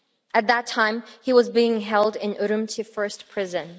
At that time, he was being held in Urumqi first prison.